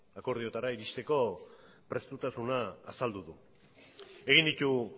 akordiotara iristeko prestutasuna azaldu du egin ditu